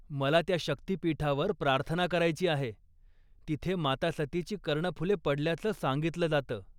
मला त्या शक्तीपीठावर प्रार्थना करायची आहे जिथे माता सतीची कर्णफुले पडल्याचं सांगितलं जातं.